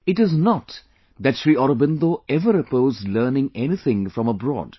It is not that Sri Aurobindo ever opposed learning anything from abroad